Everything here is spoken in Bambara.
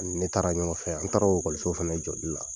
Ne taara ɲɔgɔnfɛ, an taara o ekɔliso fɛnɛ jɔli la.